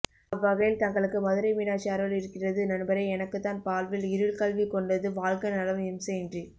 அவ்வகையில் தங்களுக்கு மதுரை மீனாட்சி அருள் இருக்கிறது நண்பரே எனக்குத்தான் வாழ்வில் இருள் கவ்விக் கொண்டது வாழ்க நலம் இம்சையின்றி